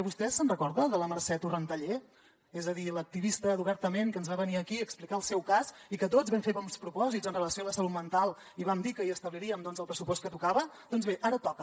vostè se’n recorda de la mercè torrentallé és a dir l’activista d’obertament que ens va venir aquí a explicar el seu cas i que tots vam fer bons propòsits amb relació a la salut mental i vam dir que hi establirien el pressupost que tocava doncs bé ara toca